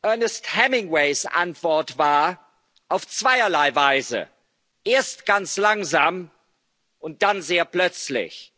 man pleite? Ernest Hemingways Antwort war Auf zweierlei Weise erst ganz langsam und dann sehr